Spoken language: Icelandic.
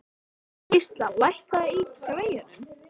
Gísla, lækkaðu í græjunum.